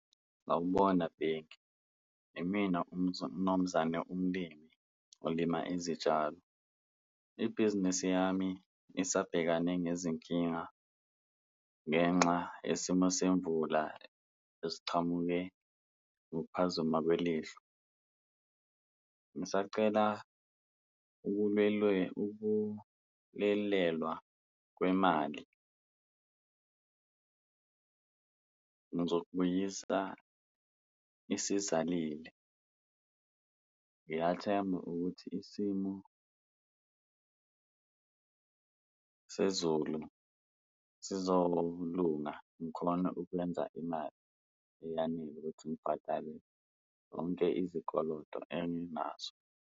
Sawubona, Bheki. Imina umnumzane umlimi olima izitshalo ibhizinisi yami isabhekane nezinkinga ngenxa yesimo semvula esichamuke ngokuphazima kwelihlo. Ngisacela ukulelelwa kwemali ngizokubuyisa isizalile. Ngiyathemba ukuthi isimo sezulu sizolunga ngikhone ukwenza imali eyanele ukuthi ngibhadale zonke izikoloto enginazo.